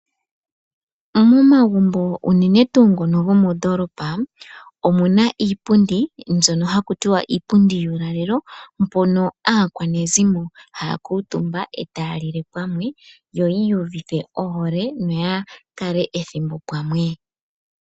Momagumbo unene tuu ngono gomoodolopa omu na iipundi yuulalelo mpono aakwanezimo haa kuutumba etaa lile pamwe, yi iyuvithe ohole noya kale ethimbo pamwe.